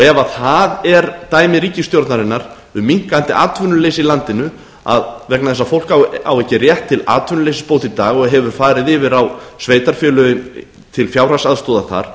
ef það er dæmi ríkisstjórnarinnar um minnkandi atvinnuleysi í landinu vegna þess að fólk á ekki rétt til atvinnuleysisbóta í dag og hefur farið yfir á sveitarfélögin til fjárhagsaðstoðar þar